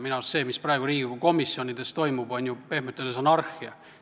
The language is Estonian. Minu arust on see, mis praegu Riigikogu komisjonides toimub, pehmelt öeldes anarhia.